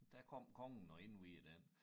Der kom kongen og indviede den